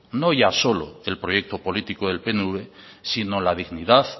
no ya solo el proyecto político del pnv sino la dignidad